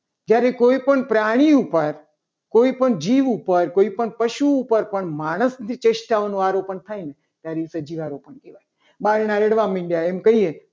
જ્યારે કોઈ પણ પ્રાણી ઉપર કોઈપણ જીવ ઉપર કોઈપણ પશુ ઉપર માણસની ચેષ્ટાઓને આરોપણ થાય ને ત્યારે એ સજીવારોપણ કહેવાય. બારણા અડવા માંડે ત્યારે એમ કહીએ